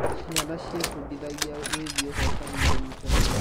Ciana ciebundithagia wĩgiĩ ũhotani na ũnyitanĩri.